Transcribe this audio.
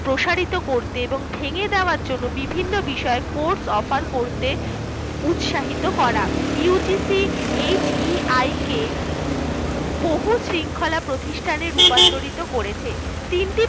প্রসারিত করতে এবং ভেঙে দেওয়ার জন্য বিভিন্ন বিষয়ে course offer করতে উৎসাহিত করা UGCHPIK বহু শৃঙ্খলা প্রতিষ্ঠানগুলিকে রূপান্তরিত করেছে